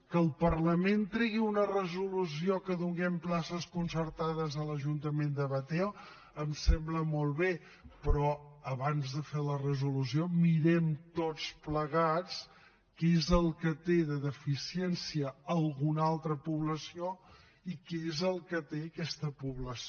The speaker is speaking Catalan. que el parlament tregui una resolució que donem places concertades a l’ajuntament de batea em sembla molt bé però abans de fer la resolució mirem tots plegats què és el que té de deficiència alguna altra població i què és el que té aquesta població